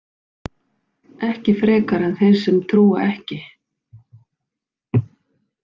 Ekki frekar en þeir sem trúa ekki.